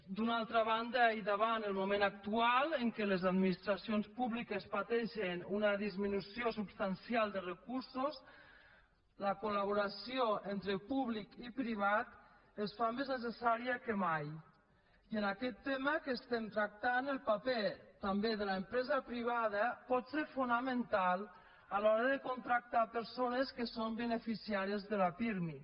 d’una altra banda i davant el moment actual en què les administracions públiques pateixen una disminució substancial de recursos la col·laboració entre públic i privat es fa més necessària que mai i en aquest tema que estem tractant el paper també de l’empresa privada pot ser fonamental a l’hora de contractar persones que són beneficiàries de la pirmi